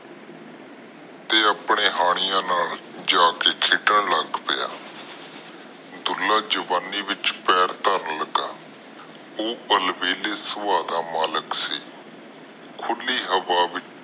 ਤੇ ਆਪਣੇ ਹਾਣੀਆਂ ਨਾਲ ਜਾ ਕੇ ਖੇਡਣ ਲੱਗ ਪਿਆ ਦੁਲਾ ਜਵਾਨੀ ਵਿਚ ਪੈਰ ਧਰਨ ਲਗਾ ਉਹ ਬਲ ਵੇਹਲੇ ਸਬਾਹ ਦਾ ਮਾਲਿਕ ਸੀ ਖੁੱਲੀ ਹਵਾ ਵਿਚ